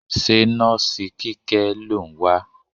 Ṣé nọ́ọ̀sì Kíkẹ́ lò ń wá?